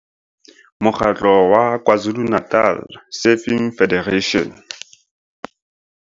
Mo kgatlo wa KwaZulu-Natal Surfing Federation.